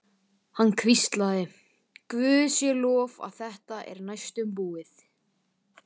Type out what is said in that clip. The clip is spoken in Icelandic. Gangi þér allt í haginn, Jörvi.